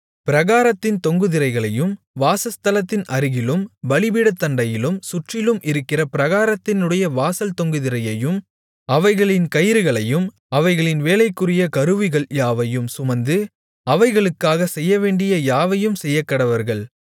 பிராகாரத்தின் தொங்கு திரைகளையும் வாசஸ்தலத்தின் அருகிலும் பலிபீடத்தண்டையிலும் சுற்றிலும் இருக்கிற பிராகாரத்தினுடைய வாசல் தொங்கு திரையையும் அவைகளின் கயிறுகளையும் அவைகளின் வேலைக்குரிய கருவிகள் யாவையும் சுமந்து அவைகளுக்காகச் செய்யவேண்டிய யாவையும் செய்யக்கடவர்கள்